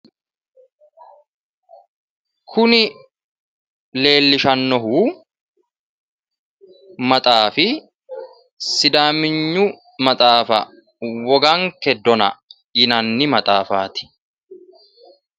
Kuni leellishshannohu maxaafi sidaaminyu maxaafa woganke dona yinanni maxaafaati.